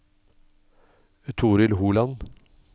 Torill Holand